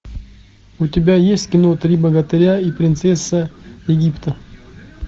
у тебя есть кино три богатыря и принцесса египта